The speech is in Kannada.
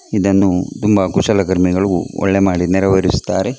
ಇದನ್ನು ತುಂಬಾ ಕುಶಲಕರ್ಮಿಗಳು ಒಳ್ಳೆ ಮಾಡಿ ನೆರವೇರಿಸುತ್ತಾರೆ.